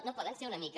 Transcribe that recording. no poden ser una mica